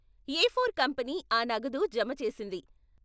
A four company ఆ నగదు జమ చేసింది.